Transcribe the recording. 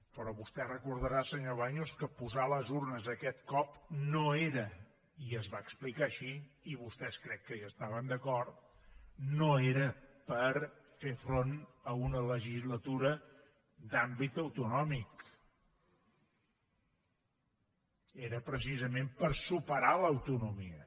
però vostè recordarà senyor baños que posar les urnes aquest cop no era i es va explicar així i vostès crec que hi estaven d’acord per fer front a una legislatura d’àmbit autonòmic era precisament per superar l’autonomia